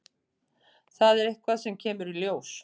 Það er eitthvað sem kemur í ljós.